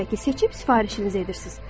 Bir çəki seçib sifarişinizi edirsiniz.